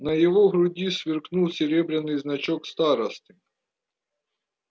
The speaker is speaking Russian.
на его груди сверкнул серебряный значок старосты